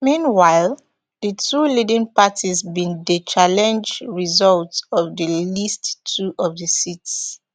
meanwhile di two leading parties bin dey challenge results of at least two of of di seats